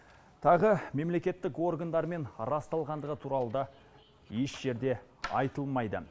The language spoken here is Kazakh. тағы мемлекеттік органдармен расталғандығы туралы да еш жерде айтылмайды